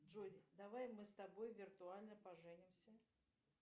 джой давай мы с тобой виртуально поженимся